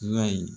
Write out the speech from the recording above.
Y'a ye